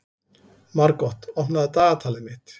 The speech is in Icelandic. Margot, opnaðu dagatalið mitt.